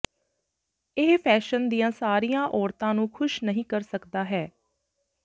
ਇਹ ਫੈਸ਼ਨ ਦੀਆਂ ਸਾਰੀਆਂ ਔਰਤਾਂ ਨੂੰ ਖੁਸ਼ ਨਹੀਂ ਕਰ ਸਕਦਾ ਹੈ